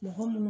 Mɔgɔ minnu